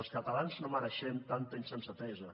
els catalans no mereixem tanta insensatesa